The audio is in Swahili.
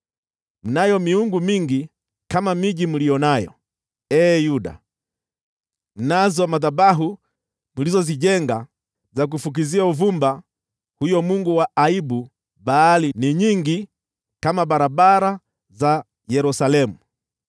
Mnayo miungu mingi kama miji mliyo nayo, ee Yuda, nazo madhabahu mlizozijenga za kufukizia uvumba huyo mungu wa aibu Baali ni nyingi kama barabara za Yerusalemu.’